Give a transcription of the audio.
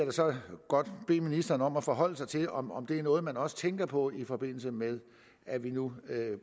godt bede ministeren om at forholde sig til om om det er noget man også tænker på i forbindelse med at vi nu